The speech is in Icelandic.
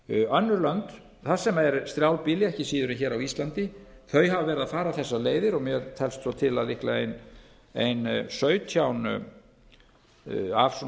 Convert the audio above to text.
önnur lönd þar sem er strjálbýli ekki síður en hér á íslandi hafa verið að fara þessar leiðir og mér telst svo til að líklega ein sautján af svona